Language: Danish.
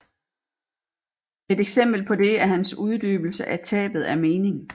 Et eksempel på det er hans uddybelse af tabet af mening